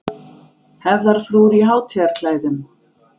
Hefðarfrúr í hátíðarklæðum.